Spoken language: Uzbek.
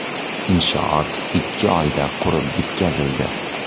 Inshoot ikki oyda qurib bitkazildi.